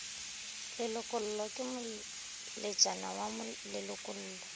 lelokollo ke moletšana wa lelokollo